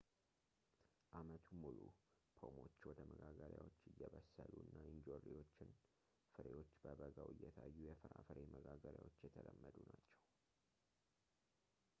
አመቱን ሙሉ ፖሞች ወደ መጋገሪያዎች እየበሰሉ እና እንጆሪዎችና ፍሬዎች በበጋው እየታዩ የፍራፍሬ መጋገሪያዎች የተለመዱ ናቸው